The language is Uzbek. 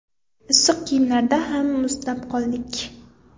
Issiq kiyimlarda ham muzlab qoldik.